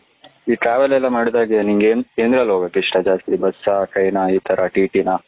E travel ಎಲ್ಲ ಮಾಡ್ದಾಗ ನಿನಗೆ ಏನ್ಎನತ್ರಲ್ಲಿ ಹೋಗಗೆ ಇಷ್ಟ ಜಾಸ್ತಿ ಬಸ್ ಹ train ಹ ಇ ತರ ಟಿ ಟಿ ನ.